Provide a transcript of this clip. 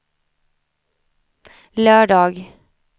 lördag